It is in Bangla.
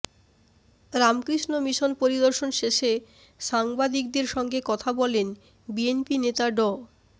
রামকৃষ্ণ মিশন পরিদর্শন শেষে সাংবাদিকদের সঙ্গে কথা বলেন বিএনপি নেতা ড